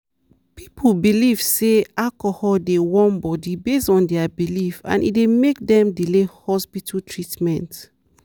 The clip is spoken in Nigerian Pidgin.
people belief say alcohol dey warm body based on their belief and e dey make dem delay hospital treatment.